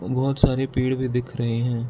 बहुत सारे पेड़ भी दिख रहे हैं।